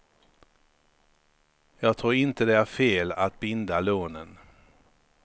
Jag tror inte det är fel att binda lånen.